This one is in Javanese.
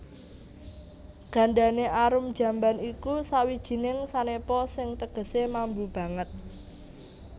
Gandane arum jamban iku sawijining sanepa sing tegesé mambu banget